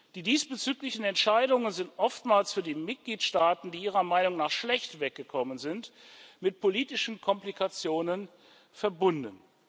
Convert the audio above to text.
Die diesbezüglichen Entscheidungen sind oftmals für die Mitgliedstaaten, die ihrer Meinung nach schlecht weggekommen sind, mit politischen Komplikationen verbunden.